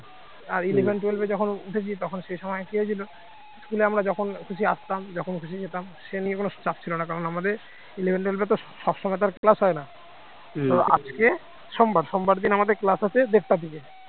school আমরা যখন খুশি আসতাম যখন খুশি যেতাম সে নিয়ে কোন চাপ ছিল না কারণ তখন আমাদের eleven twelve তো সব সময় তো আর class হয় না আজকে সোমবার সোমবার দিন আমাদের class আছে দেড়টা থেকে